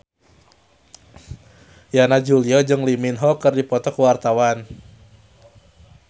Yana Julio jeung Lee Min Ho keur dipoto ku wartawan